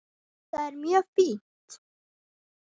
Jú, það er mjög fínt.